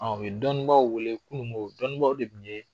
An u ye dɔnnibaaw wele kununko dɔnnibaw de tun ye